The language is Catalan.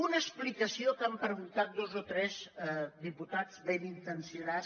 una explicació que han preguntat dos o tres diputats ben intencionats